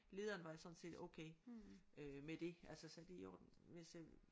Lederen var sådan set okay øh med det altså sagde det er i orden hvis øh